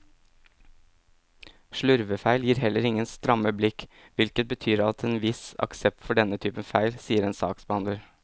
Slurvefeil gir heller ingen stramme blikk, hvilket betyr at det er en viss aksept for denne typen feil, sier en saksbehandler.